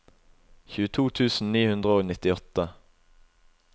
tjueto tusen ni hundre og nittiåtte